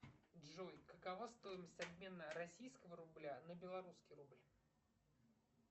джой какова стоимость обмена российского рубля на белорусский рубль